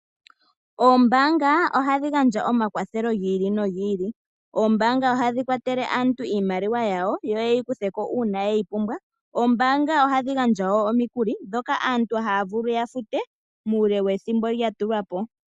Oombaanga ohadhi gandja omakwathelo gi ili nogi ili. Oombaanga ohadhi kwatele aantu iimaliwa yawo yo yeyi kutheko uuna yeyi pumbwa. Oombaanga ohadhi gandja woo omikuli dhoka aantu haavulu yafute muule wethimbo lyatulwa po.